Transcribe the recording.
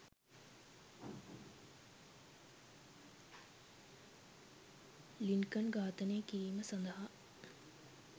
Lincoln ඝාතනය කිරීම සඳහා